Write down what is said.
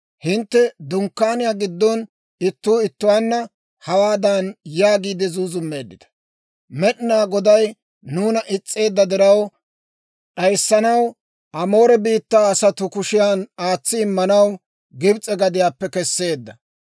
Hintte dunkkaaniyaa giddon ittuu ittuwaanna, hawaadan yaagiide zuuzummeeddita; ‹Med'inaa Goday nuuna is's'eedda diraw, d'ayissanaw Amoore biittaa asatuu kushiyan aatsi immanaw, Gibs'e gadiyaappe kesseedda.